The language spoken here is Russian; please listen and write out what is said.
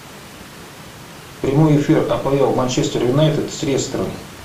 прямой эфир апл манчестер юнайтед с лестером